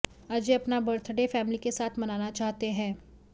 अजय अपना birthday family के साथ मनाना चाहते हैं